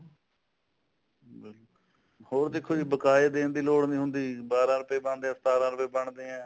ਹੋਰ ਦੇਖੋ ਜੀ ਬਕਾਇਆ ਦੇਖ ਦੀ ਲੋੜ ਨੀ ਹੁੰਦੀ ਬਾਰਾਂ ਰੁਪਏ ਬਣਦੇ ਐ ਸਤਾਰਾ ਰੁਪਏ ਬਣਦੇ ਐ